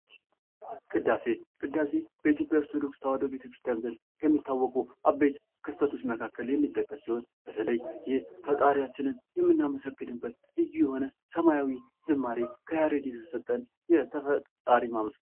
ቅዳሴ ቅዳሴ በኢትዮጵያ ኦርቶዶክስ ተዋሕዶ ቤተክርስቲያን ዘንድ የሚታወቁ አበይት ክስተቶች መካከል የሚጠቀስ ሲሆን በተለይ ይህ ፈጣሪያችንን የምናመሰግንበት ልዩ የሆነ ሰማያዊ ዝማሬ ከያሬድ የተሰጠን ፈጣሪ ማመስገን